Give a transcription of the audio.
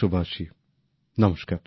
আমার প্রিয় দেশবাসী নমস্কার